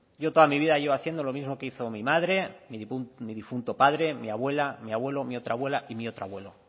yo toda mi vida llevo haciendo lo mismo que hizo mi madre mi difunto padre mi abuela mi abuelo mi otra abuela y mi otro abuelo